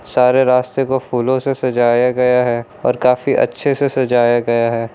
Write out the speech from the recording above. सारे रास्ते को फूलों से सजाया गया है और काफी अच्छे से सजाया गया है।